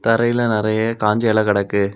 தரையில நெறைய காஞ்ச இல கிடக்கு.